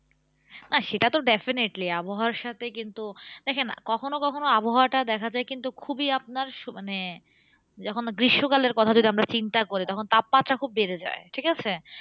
না সেটা তো definitely আবহাওয়ার সাথে কিন্তু, দেখেন কখনো কখনো আবহাওয়াটা দেখা যায় কিন্তু খুবই আপনার মানে যখন গ্রীষ্মকালের কথা যদি আমরা চিন্তা করি, তখন তাপমাত্রা খুব বেড়ে যায়, ঠিকাছে?